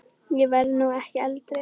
Ég verð nú ekki eldri!